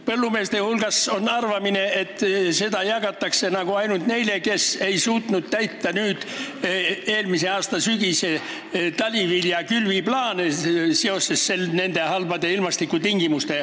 Põllumeeste hulgas on arvamine, et seda jagatakse ainult neile, kes halbade ilmastikutingimuste tõttu ei suutnud täita eelmise aasta talivilja külviplaani.